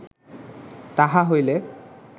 তাহা হইলে